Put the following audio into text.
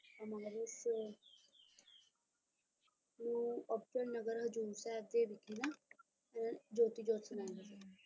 ਨੂੰ ਅਬਚਲ ਨਗਰ ਹਜ਼ੂਰ ਸਾਹਿਬ ਦੇ ਵਿਖੇ ਨਾ ਇਹ ਜੋਤੀ ਜੋਤਿ ਸਮਾ ਗਏ